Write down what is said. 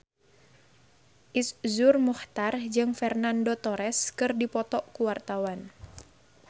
Iszur Muchtar jeung Fernando Torres keur dipoto ku wartawan